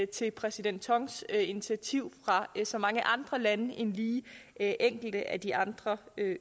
til præsident tongs initiativ fra så mange andre lande end lige enkelte af de andre